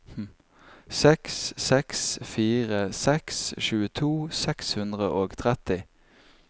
seks seks fire seks tjueto seks hundre og tretti